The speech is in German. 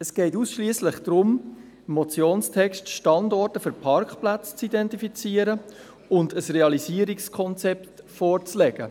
Es geht gemäss Motionstext ausschliesslich darum, «Standorte für Parkplätze zu identifizieren» und «ein Realisierungskonzept» vorzulegen.